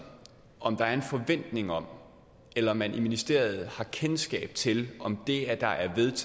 om der er en forventning om eller man i ministeriet har kendskab til om det at der er